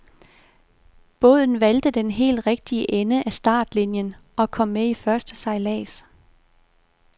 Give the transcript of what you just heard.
Båden valgte den helt rigtige ende af startlinien og kom med i første sejlads.